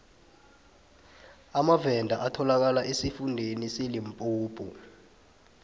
amavenda atholakala esifundeni selimpopo